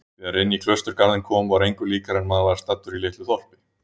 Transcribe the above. Þegar inní klausturgarðinn kom var engu líkara en maður væri staddur í litlu þorpi.